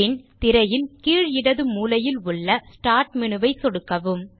பின் திரையின் கீழ் இடது மூலையில் உள்ள ஸ்டார்ட் மேனு ஐ சொடுக்கவும்